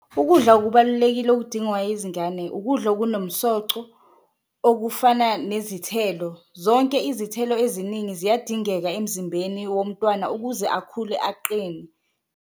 Ukudla okubalulekile okudingwa izingane ukudla okunomsoco okufana nezithelo, zonke izithelo eziningi ziyadingeka emzimbeni womntwana ukuze akhule aqine.